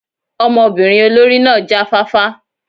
Ọmọbinrin olori náa ja fafa